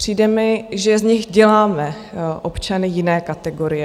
Přijde mi, že z nich děláme občany jiné kategorie.